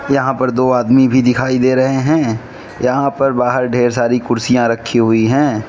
यहां पर दो आदमी भी दिखाई दे रहे हैं यहां पर बाहर ढेर सारी कुर्सियां रखी हुई हैं।